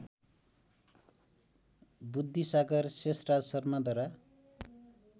Buddhisagar Sheshraj शर्माद्वारा